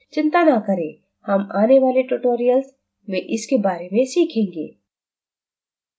चिंता ना करें हम आने वाले tutorials में इसके बारे में सीखेंगे